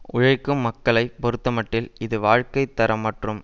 உழைக்கும் மக்களை பொறுத்தமட்டில் இது வாழ்க்கை தரம் மற்றும்